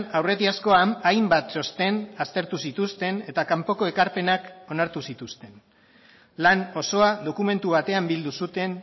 aurretiazkoan hainbat txosten aztertu zituzten eta kanpoko ekarpenak onartu zituzten lan osoa dokumentu batean bildu zuten